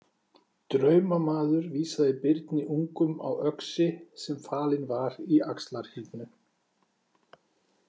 Draumamaður vísaði Birni ungum á öxi sem falinn var í Axlarhyrnu.